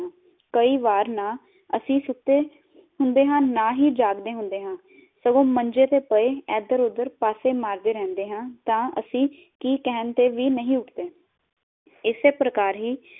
ਕਈ ਵਾਰ ਨਾ ਅਸੀਂ ਸੁੱਤੇ ਹੁੰਦੇ ਆ ਨਾ ਹੀ ਜਾਗਦੇ ਹੁੰਦੇ ਆ, ਸਗੋ ਮੰਜੇ ਤੇ ਪਾਏ ਇਧਰ ਉਧਰ ਪਾਸੇ ਮਾਰਦੇ ਰਹਿੰਦੇ ਹਾਂ ਤਾਂ ਅਸੀਂ ਕਹਿਣ ਤੇ ਵ ਨਾਈ ਉਠਦੇ